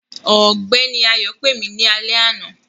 Ọgbẹni Ayọ̀ pẹ̀ mí ní ọ̀là.